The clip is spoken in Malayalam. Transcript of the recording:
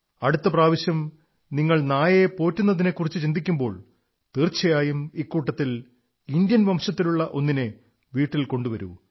അടുത്ത പ്രാവശ്യം നിങ്ങൾ നായയെ പോറ്റുന്നതിനെക്കുറിച്ചു ചിന്തിക്കുമ്പോൾ തീർച്ചയായും ഇക്കൂട്ടത്തിൽ ഇന്ത്യൻ വംശത്തിലുള്ള ഒന്നിനെ വീട്ടിൽ കൊണ്ടുവരൂ